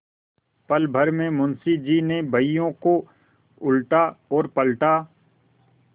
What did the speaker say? पलभर में मुंशी जी ने बहियों को उलटापलटा